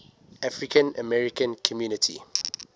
african american community